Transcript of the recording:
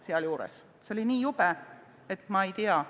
See on nii jube, et ma ei tea ...